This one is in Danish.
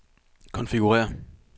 konfigurér